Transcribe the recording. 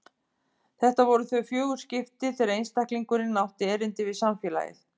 Þetta voru þau fjögur skipti þegar einstaklingurinn átti erindi við samfélagið.